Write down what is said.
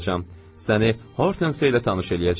Səni Hortense ilə tanış eləyəcəm.